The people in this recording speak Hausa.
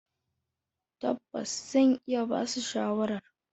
Tabbas, zan iya basu shawarar.